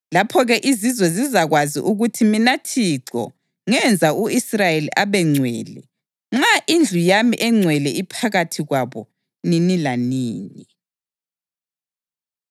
Lapho-ke izizwe zizakwazi ukuthi mina Thixo ngenza u-Israyeli abengcwele, nxa indlu yami engcwele iphakathi kwabo nini lanini.’ ”